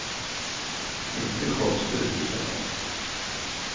Inte konstigt, i så fall.